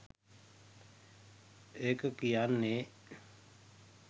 ඒක කියන්නෙ